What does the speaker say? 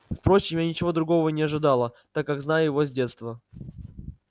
впрочем я ничего другого и не ожидала так как знаю его с детства